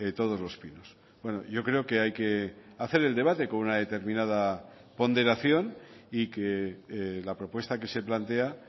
todos los pinos bueno yo creo que hay que hacer el debate con una determinada ponderación y que la propuesta que se plantea